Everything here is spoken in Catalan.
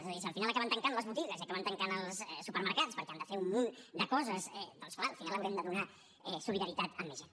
és a dir si al final acaben tancant les botigues i acaben tancant els supermercats perquè han de fer un munt de coses doncs és clar al final haurem de donar solidaritat a més gent